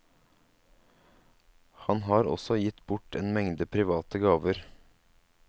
Han har også gitt bort en mengde private gaver.